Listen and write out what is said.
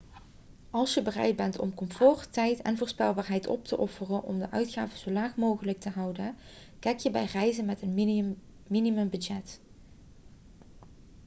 als je bereid bent om comfort tijd en voorspelbaarheid op te offeren om de uitgaven zo laag mogelijk te houden kijk je bij reizen met een minimumbudget